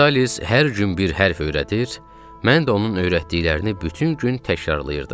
Vitalis hər gün bir hərf öyrədir, mən də onun öyrətdiklərini bütün gün təkrarlayırdım.